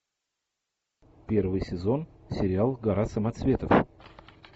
первый сезон сериал гора самоцветов